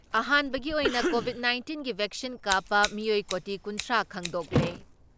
ꯑꯍꯥꯟꯕꯒꯤ ꯑꯣꯏꯅ ꯀꯣꯚꯤꯠ ꯅꯥꯏꯟꯇꯤꯟꯒꯤ ꯚꯦꯛꯁꯤꯟ ꯀꯥꯞꯄ ꯃꯤꯑꯣꯏ ꯀꯣꯇꯤ ꯀꯨꯟꯊ꯭ꯔꯥ ꯈꯪꯗꯣꯛꯂꯦ ꯫